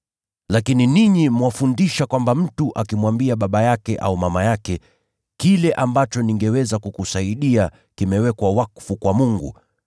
Lakini ninyi mwafundisha kwamba mtu akimwambia baba yake au mama yake, ‘Kile ambacho ningeweza kukusaidia kimewekwa wakfu kwa Mungu,’